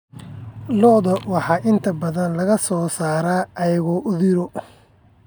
Lo'da lo'da waxaa inta badan laga soo saaraa aagga Uthiru.